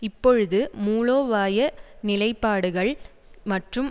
இப்பொழுது மூலோபாய நிலைப்பாடுகள் மற்றும்